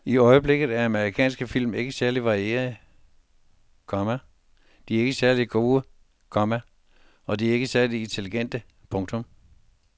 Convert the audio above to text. I øjeblikket er amerikansk film ikke særlig varierede, komma de er ikke særlig gode, komma og de er ikke særlig intelligente. punktum